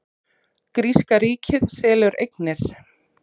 Gríska ríkið selur eignir